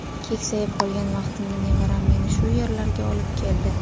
Keksayib qolgan vaqtimda nevaram meni shu yerlarga olib keldi.